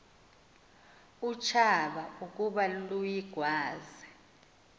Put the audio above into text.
utshaba ukuba luyigwaze